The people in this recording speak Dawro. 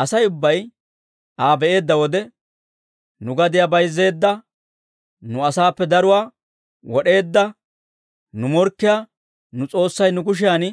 Asay ubbay Aa be'eedda wode, «Nu gadiyaa bayzzeedda, nu asaappe daruwaa wod'eedda nu morkkiyaa nu s'oossay nu kushiyan